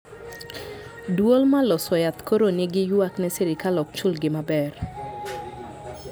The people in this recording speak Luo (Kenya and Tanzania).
Duol ma loso yath koro ni gi ywak ne sirkal okchul gi maber